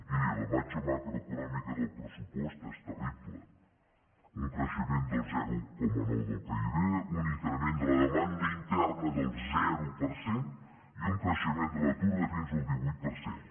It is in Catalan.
miri la imatge macroeconòmica del pressupost és terrible un creixement del zero coma nou del pib un increment de la demanda interna del zero per cent i un creixement de l’atur de fins al divuit per cent